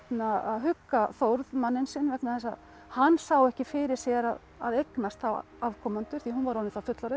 hugga Þórð manninn sinn vegna þess að hann sá ekki fyrir sér að eignast þá afkomendur því hún var orðin það fullorðin